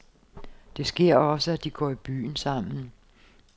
Det sker også, at de går i byen sammen.